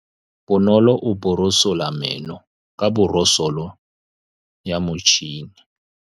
Bonolô o borosola meno ka borosolo ya motšhine.